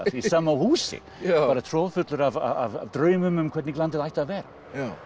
í sama húsi bara troðfullir af draumum um hvernig landið ætti að vera